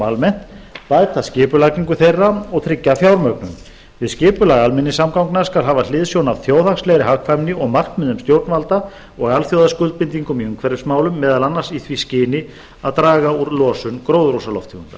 almennt bæta skipulagningu þeirra og tryggja fjármögnun við skipulag almenningssamgangna skal hafa hliðsjón af þjóðhagslegri hagkvæmni og markmiðum stjórnvalda og alþjóðaskuldbindingum í umhverfismálum meðal annars í því skyni að draga úr losun gróðurhúsalofttegunda